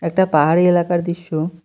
একটা পাহাড়ি এলাকার দৃশ্য।